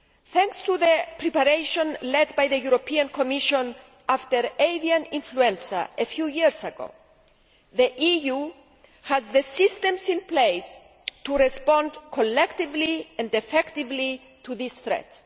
Thanks to the preparation led by the Commission after avian influenza a few years ago, the EU has the systems in place to respond collectively and effectively to this threat.